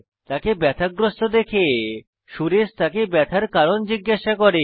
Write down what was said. তাকে ব্যাথাগ্রস্থ দেখে সুরেশ তাকে ব্যথার কারণ জিজ্ঞাসা করে